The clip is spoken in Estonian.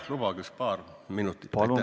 Jah, lubage paar minutit!